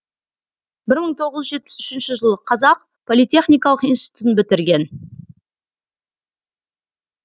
бір мың тоғыз жүз жетпіс үшінші жылы қазақ политехникалық институтын бітірген